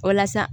Walasa